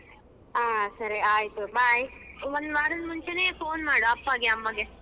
ಹಾ ಸರಿ ಆಯ್ತು bye ಒಂದು ವಾರದ ಮುಂಚೆನೆ phone ಮಾಡು ಅಪ್ಪಯಗೆ ಅಮ್ಮಗೆ.